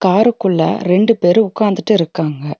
காருக்குள்ள ரெண்டு பேரு உட்காந்துட்டு இருக்காங்க.